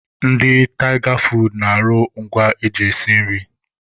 Ndị Tịga foodu na-arụ ngwa eji esi nri.